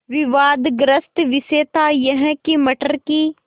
विवादग्रस्त विषय था यह कि मटर की